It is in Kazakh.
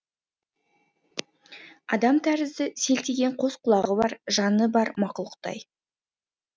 адам тәрізді селтиген қос құлағы бар жаны бар мақұлықтай